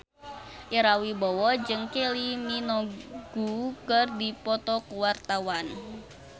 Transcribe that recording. Ira Wibowo jeung Kylie Minogue keur dipoto ku wartawan